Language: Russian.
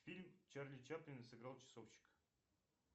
фильм чарли чаплин сыграл часовщика